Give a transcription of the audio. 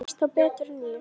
Þú veist þá betur en ég.